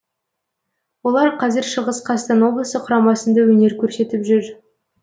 олар қазір шығыс қазақстан облысы құрамасында өнер көрсетіп жүр